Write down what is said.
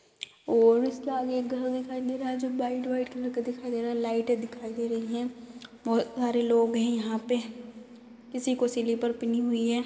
और इसके आगे एक घर दिखाई दे रहा है जो व्हाइट व्हाइट कलर का दिखाई दे रहा है। लाइटे दिखाई दे रही हैं। बहुत सारे लोग हैं यहाँ पे किसी को स्लीपर पीनी हुई है।